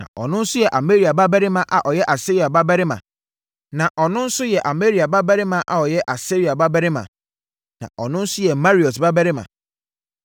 na ɔno nso yɛ Amaria babarima a ɔyɛ Asaria babarima na ɔno nso yɛ Meraiot babarima